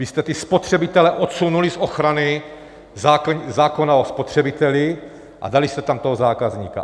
Vy jste ty spotřebitele odsunuli z ochrany zákona o spotřebiteli a dali jste tam toho zákazníka.